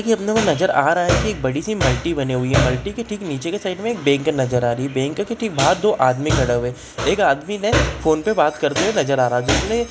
ये अपने को नज़र आ रहा है की एक बड़ी सी मल्टी बनी हुई है मल्टी के ठीक नीचे के साइड में एक बैंक नजर आ रही है बैंक के ठीक बहार दो आदमी खड़े हुए एक आदमी ने फ़ोन पर बात करते हुए नज़र आ रहे हैजिसने----